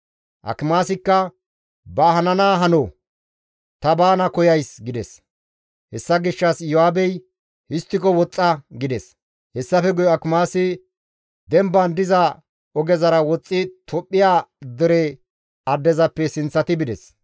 Akimaasikka, «Ba hanaa hano; ta baana koyays» gides. Hessa gishshas Iyo7aabey, «Histtiko woxxa!» gides. Hessafe guye Akimaasi demban diza ogezara woxxi Tophphiya dere addezappe sinththati bides.